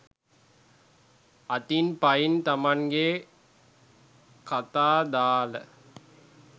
අතින් පයින් තමන්ගේ කතා දාල